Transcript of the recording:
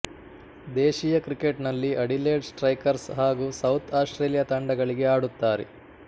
ದೇಶೀಯ ಕ್ರಿಕೆಟ್ನಲ್ಲಿ Adelaide Strikers ಹಾಗೂ ಸೌತ್ ಆಸ್ಟ್ರೇಲಿಯಾ ತಂಡಗಳಿಗೆ ಆಡುತ್ತಾರೆ